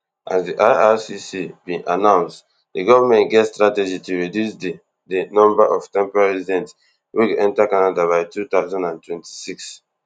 as di ircc bin announce di govment get strategy to reduce di di number of temporary residents wey go enta canada by two thousand and twenty-six